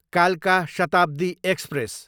कालका शताब्दी एक्सप्रेस